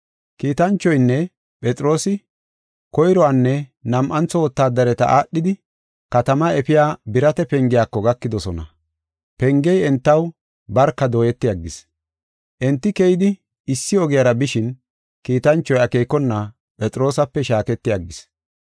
Kiitanchoynne Phexroosi koyruwanne nam7antho wotaadariya aadhidi katamaa efiya birata pengiyako gakidosona. Pengey entaw barka dooyeti aggis. Enti keyidi issi ogiyara bishin kiitanchoy akeekona Phexroosape shaaketi aggis.